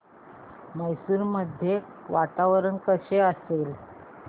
मैसूर मध्ये वातावरण कसे असेल